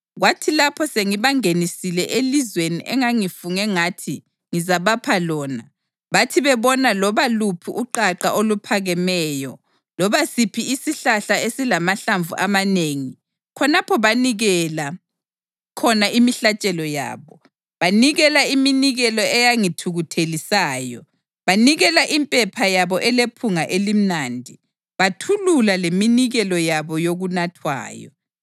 Kwathi lapho sengibangenisile elizweni engangifunge ngathi ngizabapha lona, bathi bebona loba luphi uqaqa oluphakemeyo, loba siphi isihlahla esilamahlamvu amanengi, khonapho banikelela khona imihlatshelo yabo, banikela iminikelo eyangithukuthelisayo, banikela impepha yabo elephunga elimnandi, bathulula leminikelo yabo yokunathwayo.